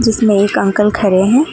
इसमें एक अंकल का खड़े हैं।